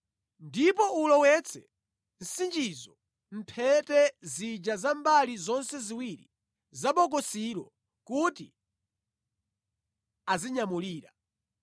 Ndipo ulowetse nsichizo mʼmphete zija za mbali zonse ziwiri za bokosilo kuti azinyamulira.